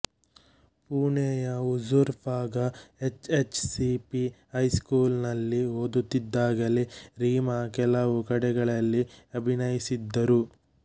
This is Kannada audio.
ಪುಣೆಯ Huzur Paga H H C P high school ನಲ್ಲಿ ಓದುತ್ತಿದ್ದಾಗಲೇ ರೀಮಾ ಕೆಲವು ಕಡೆಗಳಲ್ಲಿ ಅಭಿನಯಿಸಿದ್ದರು